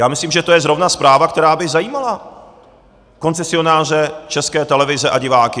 Já myslím, že to je zrovna zpráva, která by zajímala koncesionáře České televize a diváky.